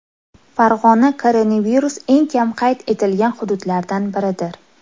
Farg‘ona koronavirus eng kam qayd etilgan hududlardan biridir.